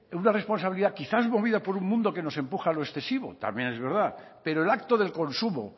una responsabilidad quizá movida por un mundo que nos empuja a lo excesivo también es verdad pero el acto del consumo